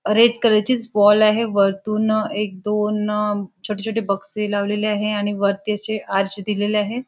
Red colour ची wall आहे वरतून एक दोन छोटे छोटे बक्षे लावलेले आहेत आणि वरती अशे आरक्षे दिलेले आहेत.